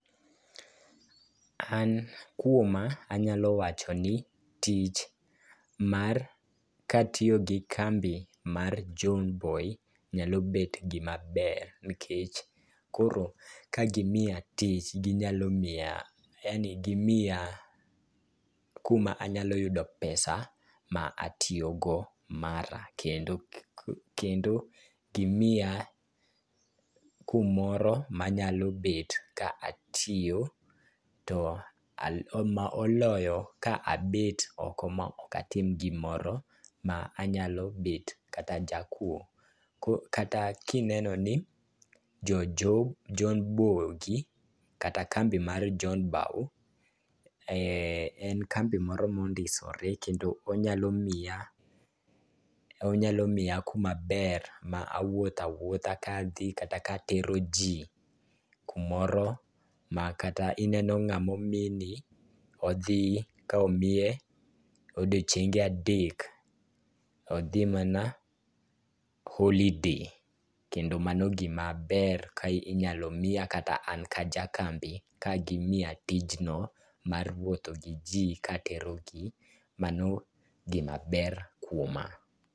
An kuoma anyalo wacho ni tich mar ,katiyo gi kambi mar John bow, nyalo bet gimaber nikech koro kagimiya tich, ginyalo miya yani gimiya kumanyalo yudo pesa ma atiyogo mara. Kendo gimiya kumoro manyalo bet ka atiyo to ma oloyo ka abet oko ma ok atim gimoro ma anyalo bet kata jakuwo. Kata kineno ni jo John bullgi kata kambi mar John Bow en kambi moro mondisore kendo onyalo miya kumaber ma awuotho awuotha ka adhi kata katero ji kumoro ma kata ineno ng'ama omini odhi ka omiye odiochienge adek, odhi mana holiday kendo mano gimaber ka inyalo miya kata an ka aja kambi ka gimiya tijno mar wuotho gi ji katero gi . Mano gimaber kuoma.